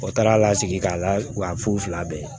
O taara lasigi k'a lafu fila bɛɛ ye